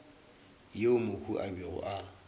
yeo mohu a bego a